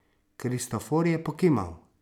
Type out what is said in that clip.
Kristofor je pokimal.